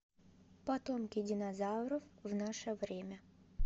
потомки динозавров в наше время